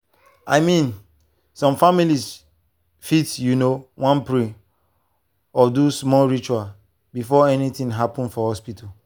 i mean some families fit you know wan pray or do their small ritual before anything happen for hospital.